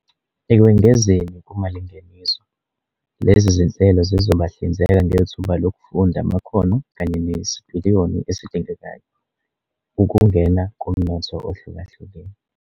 Ekwengezeni kumalingeniso, lezi zinhlelo zizobahlinzeka ngethuba lokufunda amakhono kanye nesipiliyoni esidingekayo ukungena kumnotho ohlukahlukene.